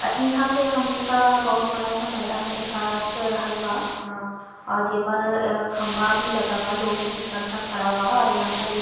आ ईहा पे हमका बहुत बड़ा सा मैदान दिखात रहल बा। आ आ जेपर खम्भा भी लगा बा। लोहे की छड़ सा खड़ा बा और यहाँ पर एक --